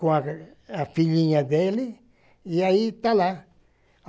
com a filhinha dele, e aí está lá.